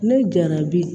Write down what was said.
Ne jarabi